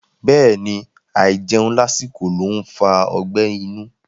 Bẹ́ẹ̀ni, àìjẹun lásìkò ló ń fa ọgbẹ́ inú.